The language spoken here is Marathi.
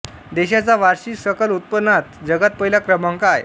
देशाचा वार्षिक सकल उत्पन्नात जगात पहिला क्रमांक आहे